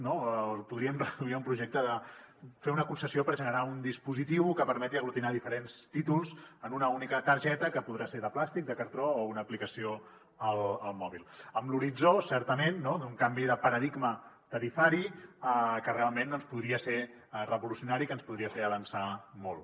no la podríem reduir a un projecte de fer una concessió per generar un dispositiu que permeti aglutinar diferents títols en una única targeta que podrà ser de plàstic de cartró o una aplicació al mòbil amb l’horitzó certament d’un canvi de paradigma tarifari que realment doncs podria ser revolucionari i que ens podria fer avançar molt